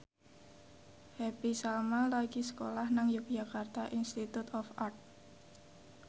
Happy Salma lagi sekolah nang Yogyakarta Institute of Art